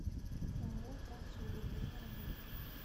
ооо трансуголь время работы